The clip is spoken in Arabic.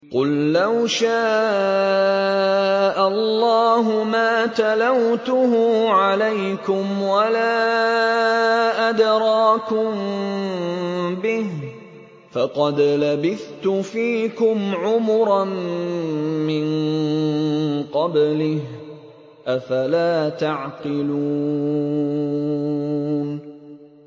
قُل لَّوْ شَاءَ اللَّهُ مَا تَلَوْتُهُ عَلَيْكُمْ وَلَا أَدْرَاكُم بِهِ ۖ فَقَدْ لَبِثْتُ فِيكُمْ عُمُرًا مِّن قَبْلِهِ ۚ أَفَلَا تَعْقِلُونَ